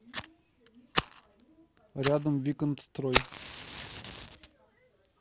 рядом виконтстрой